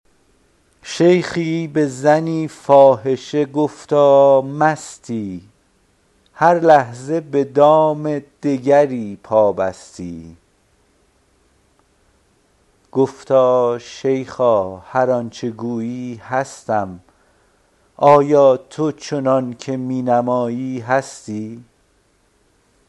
شیخی به زنی فاحشه گفتا مستی هر لحظه به دام دگری پابستی گفتا شیخا هر آن چه گویی هستم آیا تو چنان که می نمایی هستی